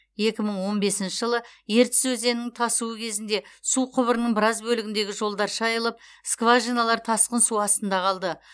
екі мың он бесінші жылы ертіс өзенінің тасуы кезінде су құбырының біраз бөлігіндегі жолдар шайылып скважиналар тасқын су астында қалды